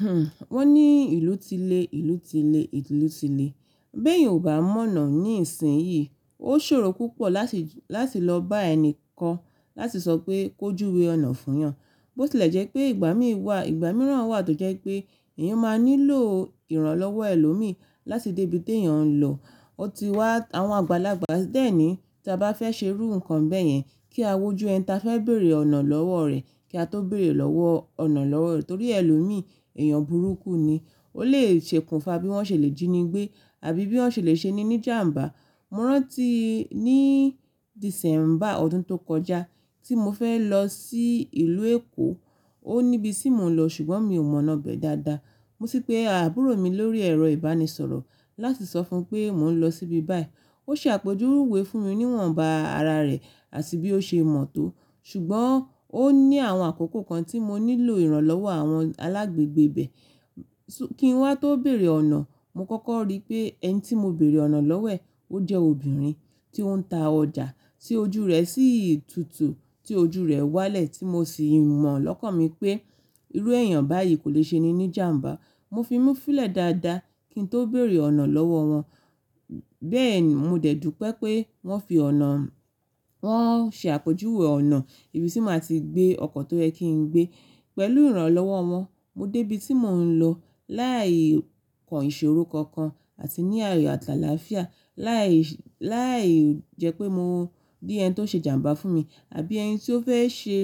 Hmhmm, wọ́n ní ìlú ti lé, ìlú ti lé, ìlú ti lé. Bẹ́ẹ̀ yan ò bá mọ̀nà ní ìsìn yìí. Ó ṣòro púpọ̀ láti, láti lọ bá ẹni kan láti sọ pé kójú we ọ̀nà fún yan. Bó ti lẹ̀ jẹ́ pé ìgbà mí wà, ìgbà mìíràn wà tó jẹ́ pé èèyàn máa nílò ìrànlọ́wọ́ ẹlòmíì láti dé ibi tí èèyàn ń lọ. Ó ti wà àwọn àgbàlagbà díẹ̀ ní tí a bá fẹ́ ṣe rú nǹkan bẹ́ẹ̀ yẹn kí a wojú ẹni tí a fẹ́ bèrè ọ̀nà lọ́wọ́ rẹ̀ kí a tó bẹ̀rẹ̀ lọ́wọ́ ọ̀nà lọ́wọ́ rẹ̀ torí ẹlòmíì èèyàn burúkú ni. Ó lè ṣekùnfa bí wọ́n ṣe lè jíni gbé àbí bí wọ́n ṣe lè ṣe ní ní jàmbá. Mo rántí ní Dìsẹ́mbà ọdún tó kọjá tí mo fẹ́ lọ sí ìlú Èkó. Ó níbi tí mò ń lọ ṣùgbọ́n mi ò mọ̀nà bẹ̀ dáadáa. Mo sí pe àbúrò mi lórí ẹ̀rọ ìbánisọ̀rọ̀ láti sọ fún un pé mò ń lọ síbi báyìí. Ó ṣe àpèjúwe rúwé fún mi níwọ̀nba ara rẹ̀ àti bí ó ṣe mọ̀ tó ṣùgbọ́n ó ní àwọn àkókò kan tí mo nílò ìrànlọ́wọ́ àwọn alágbègbè bẹ́ẹ̀ kí n wá tó bẹ̀rẹ̀ ọ̀nà. Mo kọ́kọ́ rí pé ẹni tí mo bèrè ọ̀nà lọ́wọ́ ẹ̀ ó jẹ́ obìnrin tí ó ń ta ọjà tí ojú rẹ̀ sí ìtútù tí ojú rẹ̀ wálẹ̀ tí mo sì mọ̀ lọ́kàn mi pé irú èèyàn báyìí kò lè ṣe ní ní jàmbá. Mo fi múfílẹ̀ dáadáa kí n tó bẹ̀rẹ̀ ọ̀nà lọ́wọ́ wọn. Bẹ́ẹ̀ ni mo dẹ̀ dùn pẹ́ pé wọ́n fi ọ̀nà, wọ́n ṣe àpèjúwe ọ̀nà ibi tí màá ti gbé ọkọ̀ tó yẹ kí n gbé. Pẹ̀lú ìrànlọ́wọ́ wọn mo dé ibi tí mò ń lọ láì kọ ìṣòro kankan àti ní ààyò àtàlàáfíà. Láì, láì jẹ́ pé mo bí ẹni tó ṣe jàmbá fún mi àbí ẹni tí ó fẹ́ ṣe,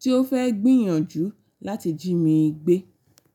tí ó fẹ́ gbìyànjú láti jí mi gbé.